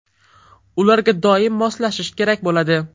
Ularga doim moslashish kerak bo‘ladi.